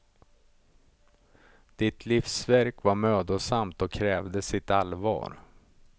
Ditt livsverk var mödosamt och krävde sitt allvar.